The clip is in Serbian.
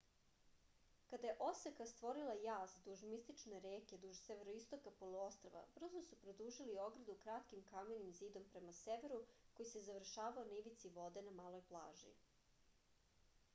kada je oseka stvorila jaz duž mistične reke duž severoistoka poluostrva brzo su produžili ogradu kratkim kamenim zidom prema severu koji se završavao na ivici vode na maloj plaži